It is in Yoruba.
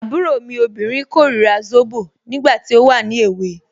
Àbúrò mi obìnrin korira zobo, nígbà tí ó wà ní èwe.